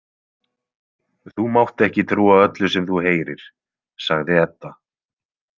Þú mátt ekki trúa öllu sem þú heyrir, sagði Edda.